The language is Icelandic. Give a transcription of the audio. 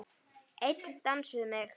Einn dans við mig